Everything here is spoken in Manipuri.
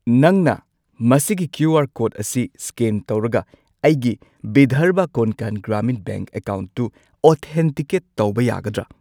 ꯅꯪꯅ ꯃꯁꯤꯒꯤ ꯀ꯭ꯌꯨ.ꯑꯥꯔ. ꯀꯣꯗ ꯑꯁꯤ ꯁ꯭ꯀꯦꯟ ꯇꯧꯔꯒ ꯑꯩꯒꯤ ꯚꯤꯙꯔꯚ ꯀꯣꯟꯀꯥꯟ ꯒ꯭ꯔꯥꯃꯤꯟ ꯕꯦꯡꯛ ꯑꯦꯀꯥꯎꯟꯠꯇꯨ ꯑꯣꯊꯦꯟꯇꯤꯀꯦꯠ ꯇꯧꯕ ꯌꯥꯒꯗ꯭ꯔꯥ?